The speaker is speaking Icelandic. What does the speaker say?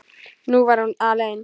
Nú var hún alein.